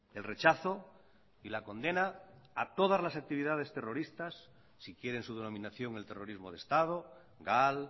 el rechazo y la condena a todas las actividades terroristas si quiere en su denominación el terrorismo de estado gal